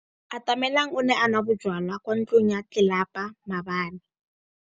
Atamelang o ne a nwa bojwala kwa ntlong ya tlelapa maobane.